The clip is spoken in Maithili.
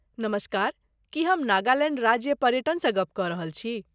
नमस्कार! की हम नागालैण्ड राज्य पर्यटनसँ गप कऽ रहल छी?